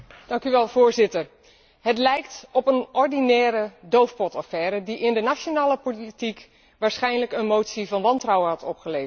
Voorzitter, het lijkt op een ordinaire doofpotaffaire die in de nationale politiek waarschijnlijk een motie van wantrouwen had opgeleverd.